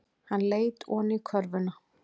Hann leit oní körfuna.